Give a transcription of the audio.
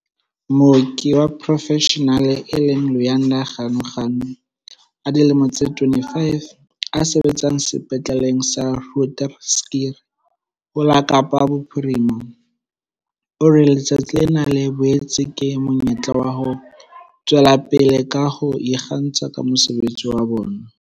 Mooki wa porofeshenale e leng Luyanda Ganuganu a dilemo tse 25, a sebetsang Sepetleleng sa Groote Schuur ho la Kapa Bophirima, o re letsatsi lena le boetse ke monyetla wa ho tswela pele ka ho ikgantsha ka mosebetsi wa bona.